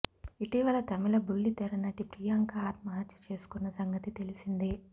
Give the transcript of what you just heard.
ఇటీవల తమిళ బుల్లితెర నటి ప్రియాంక ఆత్మహత్య చేసుకున్న సంగతి తెలిసిందే